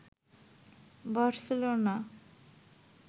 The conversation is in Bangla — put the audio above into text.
বার্সেলোনা